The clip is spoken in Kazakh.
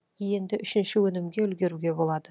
енді үшінші өнімге үлгеруге болады